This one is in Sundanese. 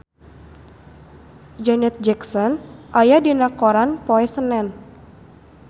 Janet Jackson aya dina koran poe Senen